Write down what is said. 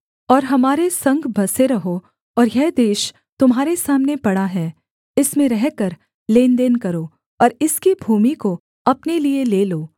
और हमारे संग बसे रहो और यह देश तुम्हारे सामने पड़ा है इसमें रहकर लेनदेन करो और इसकी भूमि को अपने लिये ले लो